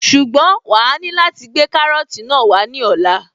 Ṣùgbọ́n wàá ní láti gbé kárọ́tì náà wá ní ọ̀la